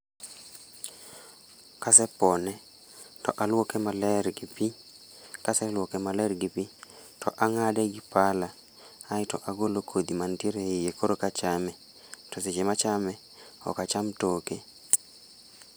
Kasepone to aluoke maler gi pi, kaseluoke maler gi pi to ang'ade gi pala aeto agolo kodhi mantiere e iye koro eka achame, to seche machame, ok acham toke.